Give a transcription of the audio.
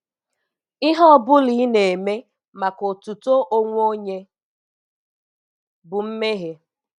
Ihe ọ bụla ị na-eme maka otuto onwe onye bụ mmehie.